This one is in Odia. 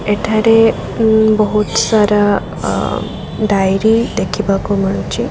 ଏଠାରେ ଉଁ ବୋହୁତ୍ ସରା ଅ ଡ଼ାଇରୀ ଦେଖିବାକୁ ମିଳୁଚି।